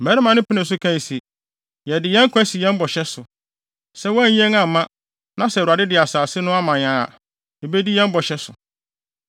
Mmarima no penee so kae se, “Yɛde yɛn nkwa si yɛn bɔhyɛ so. Sɛ woanyi yɛn amma na sɛ Awurade de asase no ma yɛn a, yebedi yɛn bɔhyɛ so.”